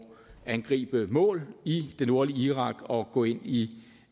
angribe mål i det nordlige irak og gå ind i